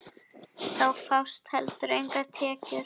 Þá fást heldur engar tekjur.